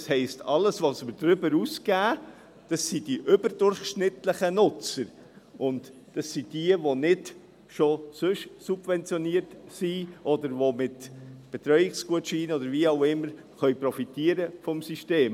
Das heisst, dass alles, was wir darüber hinaus geben, die überdurchschnittlichen Nutzer betrifft, und das sind diejenigen, die nicht schon sonst subventioniert sind, oder die mit Betreuungsgutscheinen oder wie auch immer vom System profitieren können.